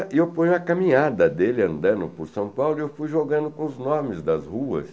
E eu ponho a caminhada dele andando por São Paulo e eu fui jogando com os nomes das ruas